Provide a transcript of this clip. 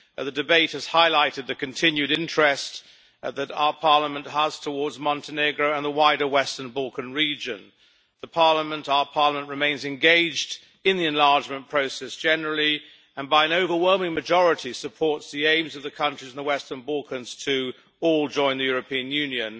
The debate has highlighted the continued interest that our Parliament has towards Montenegro and the wider Western Balkan region. Our Parliament remains engaged in the enlargement process generally and, by an overwhelming majority, supports the aims of the countries in the Western Balkans to all join the European Union.